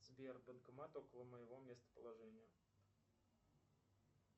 сбер банкомат около моего местоположения